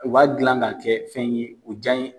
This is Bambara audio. U b'a dilan ka kɛ fɛn ye u